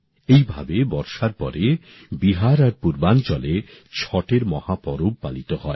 এইভাবে বর্ষার পরে বিহার আর পূর্বাঞ্চলে ছটের মহাপরব পালিত হয়